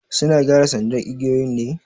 Suna gyara sandar igiyoyin ne?